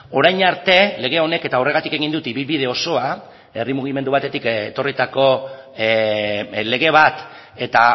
orain arte lege honek eta horregatik egin dut ibilbide osoa herri mugimendu batetik etorritako lege bat eta